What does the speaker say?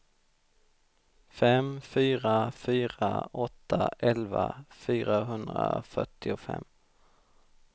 fem fyra fyra åtta elva fyrahundrafyrtiofem